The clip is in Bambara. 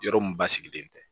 Yɔrɔ mun basigilen tɛ